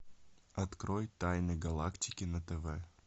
открой тайны галактики на тв